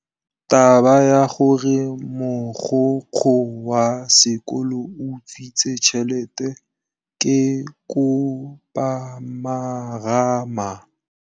Taba ya gore mogokgo wa sekolo o utswitse tšhelete ke khupamarama.